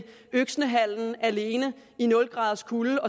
øksnehallen alene i nul graders kulde